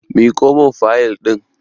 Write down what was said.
Miƙo mun fayil ɗin!